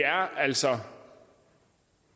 altså